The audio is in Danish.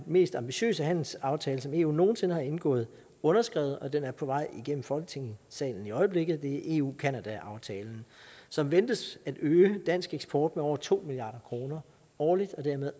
mest ambitiøse handelsaftale som eu nogen sinde har indgået underskrevet og den er på vej igennem folketingssalen i øjeblikket det er eu canada aftalen som ventes at øge dansk eksport med over to milliard kroner årligt